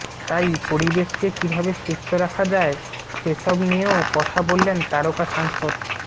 তাই পরিবেশকে কী ভাবে সুস্থ রাখা যায় সে সব নিয়েও কথা বললেন তারকা সাংসদ